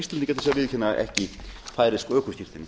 að viðurkenna ekki færeysk ökuskírteini